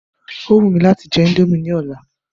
Ó wù mí láti jẹ indomie ní ọ̀la.